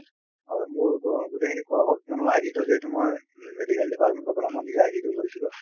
হয় মোৰ গোটেই খিনি কৰা হল কিয়নো id টো যিহেতু মই medical department ৰ পৰা মই নিজৰ id টো লৈছিলোঁ